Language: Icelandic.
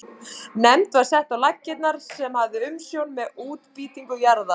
Nefnd var sett á laggirnar sem hafði umsjón með útbýtingu jarða.